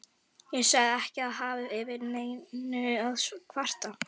Ég sagðist ekki hafa yfir neinu að kvarta.